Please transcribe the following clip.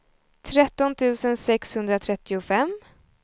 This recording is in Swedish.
tretton tusen sexhundratrettiofem